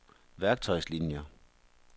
værktøjslinier